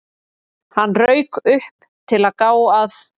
Hann rauk upp, til að gá að